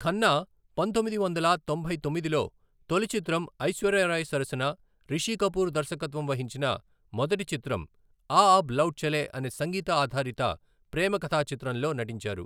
ఖన్నా, పంతొమ్మిది వందల తొంభై తొమ్మిదిలో తొలిచిత్రం ఐశ్వర్య రాయ్ సరసన రిషి కపూర్ దర్శకత్వం వహించిన మొదటి చిత్రం ఆ అబ్ లౌట్ చలే అనే సంగీత ఆధారిత ప్రేమ కధా చిత్రంలో నటించారు .